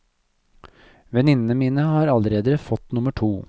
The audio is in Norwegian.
Venninnene mine har allerede fått nummer to.